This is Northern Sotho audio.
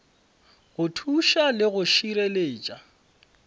go thuša le go šireletša